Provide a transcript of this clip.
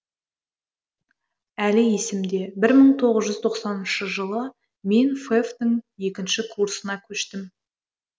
әлі есімде бір мың тоғыз жүз тоқсаныншы жылы мен фэф тің екінші курсына көштім